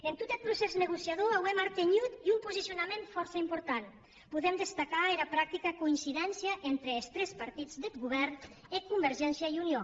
en tot eth procès negociador auem artenhut un posicionament fòrça important podem destacar era practica coincidéncia entre es tres partits deth govèrn e convergéncia i unió